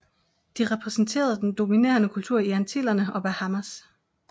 De repræsenterede den dominerende kultur i Antillerne og Bahamas